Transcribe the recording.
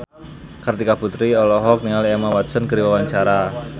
Kartika Putri olohok ningali Emma Watson keur diwawancara